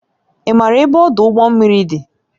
Ị maara ebe ọdụ ụgbọ mmiri dị?